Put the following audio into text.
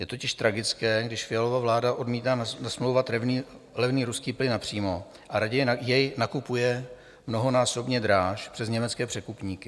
Je totiž tragické, když Fialova vláda odmítá nasmlouvat levný ruský plyn napřímo a raději jej nakupuje mnohonásobně dráž přes německé překupníky.